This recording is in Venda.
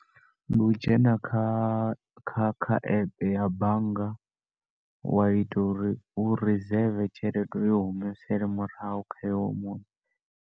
Ndi u dzhena kha kha kha epe ya bannga wa ita uri u reseve tshelede u i humisele murahu kha hoyo munna.